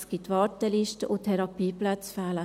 Es gibt Wartelisten und Therapieplätze fehlen.